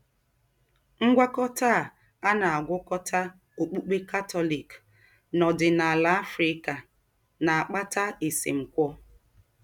Ngwákọ̀tà à à na - àgwákọ̀tà ọ́kpukpè Katọlik nà òdìnàlà Africa na - àkpàtà èsèmkwọ́.